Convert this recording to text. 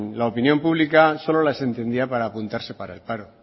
la opinión pública solo las entendía para apuntarse para el paro